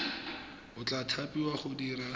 o tla thapiwa go dira